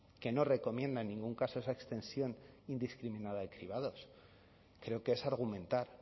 que no recomienda en ningún caso esa extensión indiscriminada de cribados creo que es argumentar